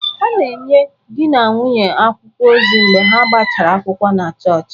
A ga-enye di na nwunye akwụkwọ ozi mgbe ha gbachara akwụkwọ na chọọchị